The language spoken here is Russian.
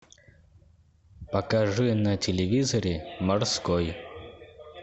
покажи на телевизоре морской